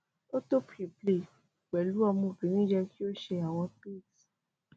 o to preplay pẹlu ọmọbirin yẹ ki o ṣe awọn tricks